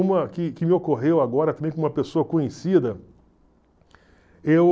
Uma que que me ocorreu agora também com uma pessoa conhecida. Eu...